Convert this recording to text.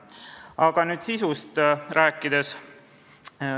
Aga nüüd sisu juurde.